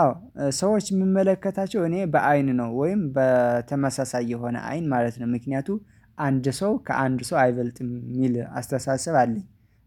አዎ ሰዎች የምመለከታቸው እኔ በአይን ነው ወይም በተመሳሳይ የሆነ አይን ማለት ነው፤ ምክንያቱ አንድ ሰው ከአንድ ሰው አይበልጥም የሚል አስተሳሰብ አለኝ።